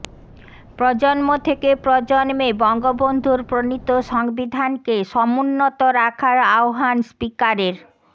প্রজন্ম থেকে প্রজন্মে বঙ্গবন্ধুর প্রণীত সংবিধানকে সমুন্নত রাখার আহবান স্পিকারের